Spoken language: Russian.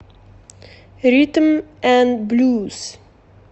ритм н блюз